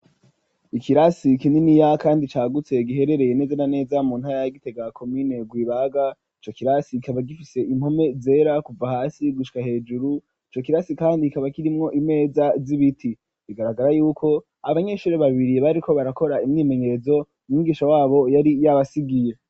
Ikirasi kininiya kandi cagutse giherereye neze na neza mu ntara ya gitega komine gwibaga, ico kirasi kikaba gifise impome zera kuva hasi gushika hejuru ico kirasi kandi kikaba kirimwo imeza z'ibiti ,bigaragara yuko abanyeshuri babiri bariko barakora imwimenyerezo umwigisha wabo yari yabasigiye.